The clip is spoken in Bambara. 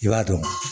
I b'a dɔn